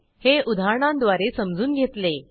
हे उदाहरणांद्वारे समजून घेतले